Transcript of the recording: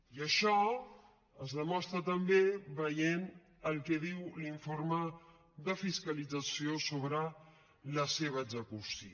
i això és demostra també veient el que diu l’informe de fiscalització sobre la seva execució